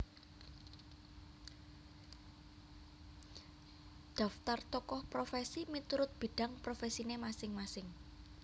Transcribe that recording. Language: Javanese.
Daftar Tokoh Profesi miturut bidang profesine masing masing